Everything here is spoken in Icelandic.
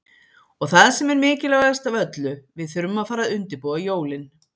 Og það sem er mikilvægast af öllu, við þurfum að fara að undirbúa jólin.